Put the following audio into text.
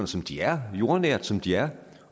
som de er jordnære som de er